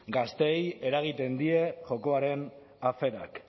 gazteei eragiten die jokoaren aferak